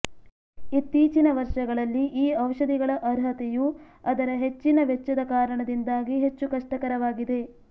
ಇತ್ತೀಚಿನ ವರ್ಷಗಳಲ್ಲಿ ಈ ಔಷಧಿಗಳ ಅರ್ಹತೆಯು ಅದರ ಹೆಚ್ಚಿನ ವೆಚ್ಚದ ಕಾರಣದಿಂದಾಗಿ ಹೆಚ್ಚು ಕಷ್ಟಕರವಾಗಿದೆ